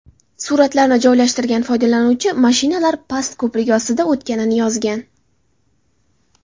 Suratlarni joylashtirgan foydalanuvchi mashinalar past ko‘prik ostidan o‘tganini yozgan.